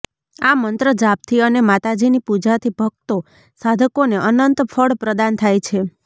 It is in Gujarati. આ મંત્ર જાપથી અને માતાજીની પુજા થી ભક્તો સાધકોને અનંત ફળ પ્રદાન થાય છે